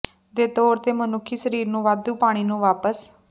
ਦੇ ਤੌਰ ਤੇ ਮਨੁੱਖੀ ਸਰੀਰ ਨੂੰ ਵਾਧੂ ਪਾਣੀ ਨੂੰ ਵਾਪਸ